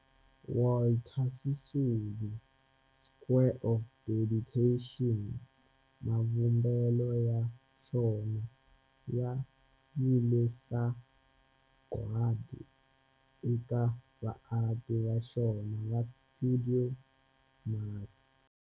Walter Sisulu Square of Dedication, mavumbelo ya xona ya vile sagwadi eka vaaki va xona va stuidio MAS.